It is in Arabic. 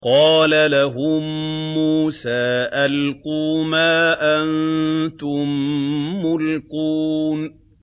قَالَ لَهُم مُّوسَىٰ أَلْقُوا مَا أَنتُم مُّلْقُونَ